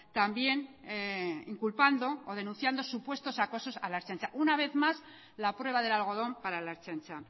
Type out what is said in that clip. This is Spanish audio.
también inculpando o denunciando supuesto acosos a la ertzaintza una vez más la prueba del algodón para la ertzaintza